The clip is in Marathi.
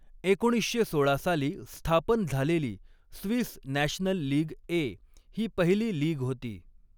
एकोणीसशे सोळा साली स्थापन झालेली स्विस नॅशनल लीग ए, ही पहिली लीग होती.